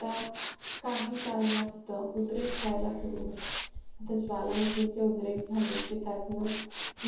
त्या काही कारणास्तव उद्रेक होयला सुरू होतात ज्वालामुखी चे उद्रेक झाले की त्यातंन